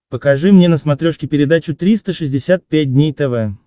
покажи мне на смотрешке передачу триста шестьдесят пять дней тв